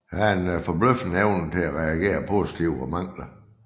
Der er en forbløffende evne til at reagere positivt på mangler